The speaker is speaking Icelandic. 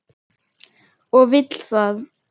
Og vill það.